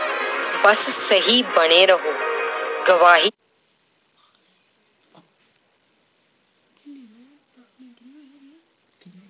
ਬਸ ਸਹੀ ਬਣੇ ਰਹੋ ਗਵਾਹੀ